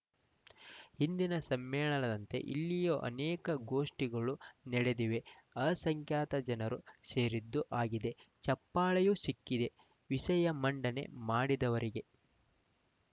ಹಿಂದಿನ ಸಮ್ಮೇಳನದಂತೆ ಇಲ್ಲಿಯೂ ಅನೇಕ ಗೋಷ್ಠಿಗಳು ನಡೆದಿವೆ ಅ ಸಂಖ್ಯಾತ ಜನರೂ ಸೇರಿದ್ದು ಆಗಿದೆ ಚಪ್ಪಾಳೆಯೂ ಸಿಕ್ಕಿದೆ ವಿಷಯ ಮಂಡನೆ ಮಾಡಿದವರಿಗೆ